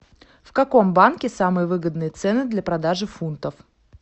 в каком банке самые выгодные цены для продажи фунтов